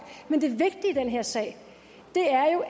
men det vigtige i den her sag